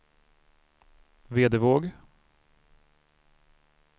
Vedevåg